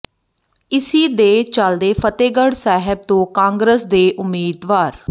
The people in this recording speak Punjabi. ਇਸੀ ਦੇ ਚਲਦੇ ਫਤਿਹਗੜ੍ਹ ਸਹਿਬ ਤੋਂ ਕਾਂਗਰਸ ਦੇ ਉਮੀਦਵਾਰ ਡਾ